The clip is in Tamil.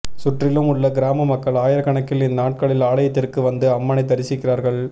சுற்றிலும் உள்ள கிராம மக்கள் ஆயிரக்கணக்கில் இந்நாட்களில் ஆலயத்திற்கு வந்து அம்மனை தரிசிக்கிறார்கள்